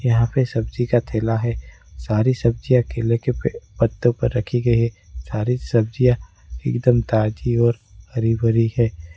यहां पे सब्जी का ठेला है सारी सब्जियां केले के पत्तों पर रखी गई है सारी सब्जियां एकदम ताजी और हरी भरी है।